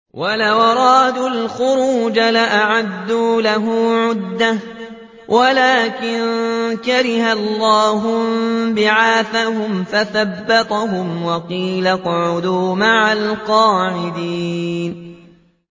۞ وَلَوْ أَرَادُوا الْخُرُوجَ لَأَعَدُّوا لَهُ عُدَّةً وَلَٰكِن كَرِهَ اللَّهُ انبِعَاثَهُمْ فَثَبَّطَهُمْ وَقِيلَ اقْعُدُوا مَعَ الْقَاعِدِينَ